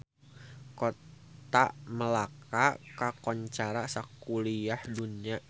Kota Melaka kakoncara sakuliah dunya